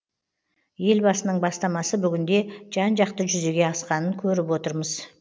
елбасының бастамасы бүгінде жан жақты жүзеге асқанын көріп отырмыз